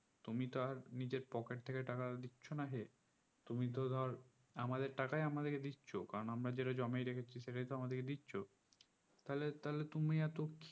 তুমি তো আর নিজের পকেট থেকে টাকাটা দিচ্ছ না হে তুমি তো ধর আমাদের টাকায় আমাদিকে দিচ্ছ কারণ আমরা যেটা জমিয়ে রেখেছি সেটাইতো আমাদিকে দিচ্ছ তাহলে তাহলে তুমি এত